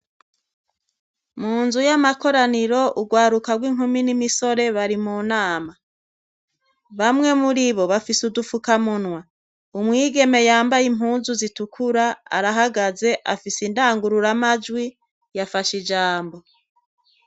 Munzu y'amakoraniro urwaruko rw'inkumi n'imisore bari mu nama, bamwe muribo bafise udufuka munwa, umwigeme yambaye impuzu zitukura arahagaze, afise indangururamajwi yafashe ijambo.